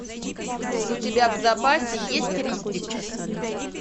у тебя в запасе есть риддик